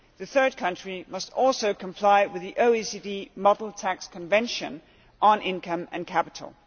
Third countries must also comply with the OECD model tax convention on income and capital.